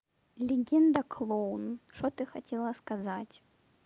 легенда клоун что ты хотела сказать